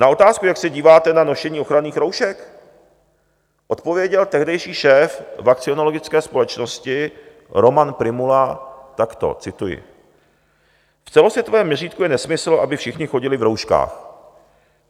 Na otázku, jak se díváte na nošení ochranných roušek, odpověděl tehdejší šéf Vakcinologické společnosti Roman Prymula takto, cituji: "V celosvětovém měřítku je nesmysl, aby všichni chodili v rouškách.